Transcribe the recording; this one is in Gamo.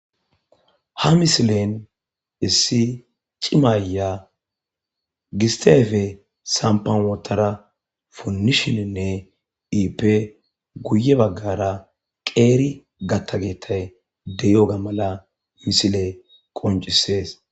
Na misilen issi cimayya gisteefe sampawootara punnishininne iippe guye baggara qeeri gattageetay deyoga mala misile qoncisees